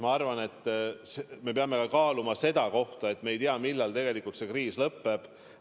Ma arvan, et me peame olukorda kaaluma ka sellest vaatevinklist, et me ei tea, millal see kriis tegelikult lõpeb.